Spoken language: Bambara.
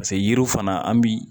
Paseke yiriw fana an bi